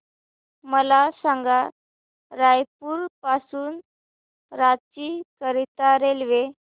मला सांगा रायपुर पासून रांची करीता रेल्वे